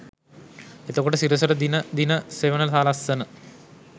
එතකොට සිරසට දින දින සෙවන සලස්සන